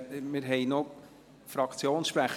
Wir haben noch Fraktionssprecher.